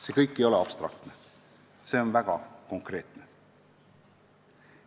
See kõik ei ole abstraktne, see on väga konkreetne.